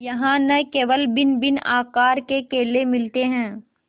यहाँ न केवल भिन्नभिन्न आकार के केले मिलते हैं